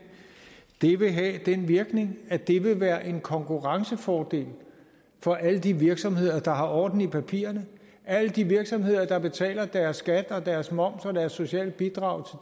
det vil have den virkning at det vil være en konkurrencefordel for alle de virksomheder der har orden i papirerne alle de virksomheder der betaler deres skat og deres moms og deres sociale bidrag